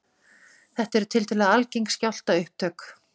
Þetta eru tiltölulega algeng skjálftaupptök